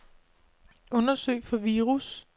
Undersøg for virus.